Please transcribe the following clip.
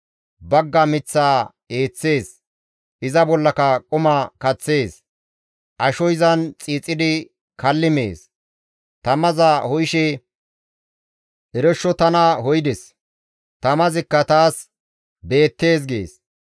Bagga miththaa eeththees; iza bollaka quma kaththees; asho izan xiixidi kalli mees; tamaza ho7ishe, «Eroshsho tana ho7ides; tamazikka taas beettees» gees.